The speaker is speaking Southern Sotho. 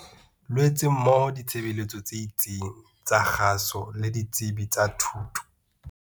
Loetse mmoho le ditshebeletso tse itseng tsa kgaso le ditsebi tsa thuto.